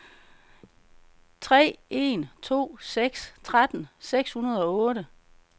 tre en to seks tretten seks hundrede og otte